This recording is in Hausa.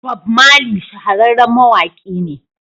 Bob Marley shahararren mawaƙi ne.